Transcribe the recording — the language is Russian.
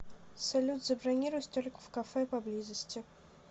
салют забронируй столик в кафе по близости